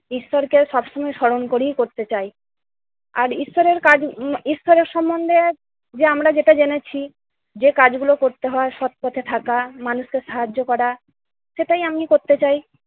ঈশ্বরকে সবসময় স্মরণ করি করতে চাই। আর ঈশ্বরের কাজ উম ঈশ্বরের সম্বন্ধে যে আমরা যেটা জেনেছি যে কাজগুলো করতে হয়, সৎ পথে থাকা, মানুষকে সাহায্য করা, সেটাই আমি করতে চাই।